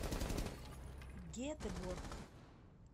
гетеборг